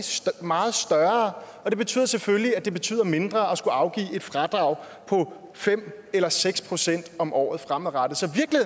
meget større og det betyder selvfølgelig at det betyder mindre at skulle afgive et fradrag på fem eller seks procent om året fremadrettet